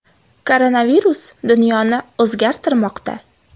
Koronavirus dunyoni o‘zgartirmoqda.